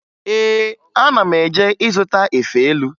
Ee, ana m eje ịzụta efe elu